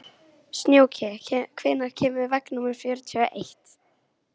Snjóki, hvenær kemur vagn númer fjörutíu og eitt?